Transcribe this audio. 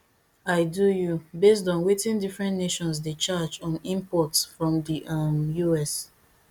i do you based on wetin different nations dey charge on imports from di um us